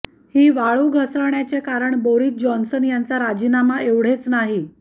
ही वाळू घसरण्याचे कारण बोरिस जॉन्सन यांचा राजीनामा एवढेच नाही